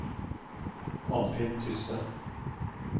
Anfinn Tysse